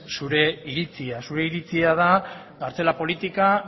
zure iritzia zure iritzia da kartzela politika